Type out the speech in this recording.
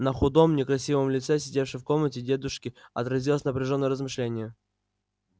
на худом некрасивом лице сидевшей в комнате дебушки отразилось напряжённое размышление